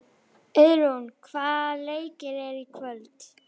Auðrún, hvaða leikir eru í kvöld?